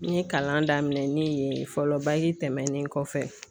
N ye kalan daminɛ ne ye fɔlɔ tɛmɛnen kɔfɛ.